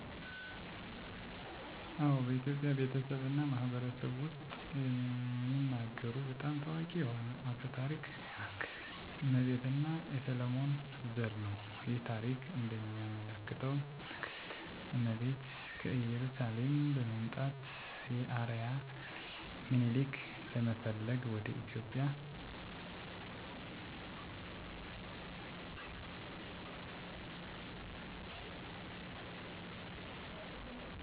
አዎ፣ በኢትዮጵያ ቤተሰብ እና ማህበረሰብ ውስጥ የሚነገሩ በጣም ታዋቂ የሆነ አፈ ታሪክ የንግሥት እመቤት እና የሰሎሞን ዘር ነው። ይህ ታሪክ እንደሚያመለክተው ንግሥት እመቤት ከኢየሩሳሌም በመምጣት የአርአያ ልጅ ሚኒሊክን ለመፈለግ ወደ ኢትዮጵያ መጣች። እመቤት እና ሚኒሊክ የሰሎሞን ንጉሥ ዘር አርቆ የኢትዮጵያን ሥልጣኔ አስጀመሩ። ይህ ታሪክ ኢትዮጵያውያን ከጥንታዊ እና ኃያል ሥርወ መንግሥት እንደሚወርሱ የሚያሳይ ኩራት ነው። በተጨማሪም ይህ አፈ ታሪክ በብሉይ ኪዳን መጽሐፍ ቅዱስ ጥናት ውስጥ የተጠቀሰ ሲሆን ኢትዮጵያውያንን የሃይማኖት እና የታሪክ ባህላቸውን ለመግለጽ ያገለግላል።